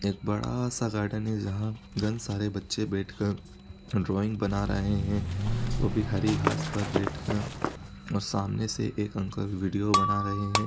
एक बड़ा सा गार्डन है जहाँ गन सारे बच्चे बैठकर ड्राइंग बना रहे हैं। वो भी हरी घांस पर बैठकर और सामने से एक अंकल विडियो बना रहे हैं।